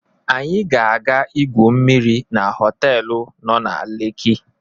anyi ga aga igwu mmiri na họtelu no na lekki